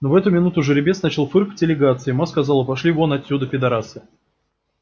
но в эту минуту жеребец начал фыркать и лягаться и ма сказала пошли вон отсюда педарасы